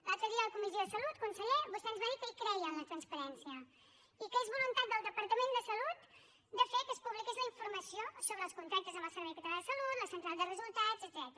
l’altre dia a la comissió de salut conseller vostè ens va dir que hi creia en la transparència i que és voluntat del departament de salut fer que es publiqui la informació sobre els contractes amb el servei català de salut la central de resultats etcètera